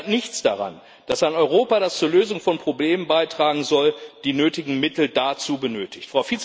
Das ändert aber nichts daran, dass Europa, das zur Lösung von Problemen beitragen soll, die nötigen Mittel dazu benötigt.